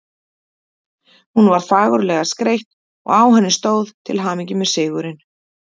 Hún var fagurlega skreytt og á henni stóð: Til hamingju með sigurinn